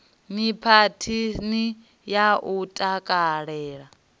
ni phathini ya u takalela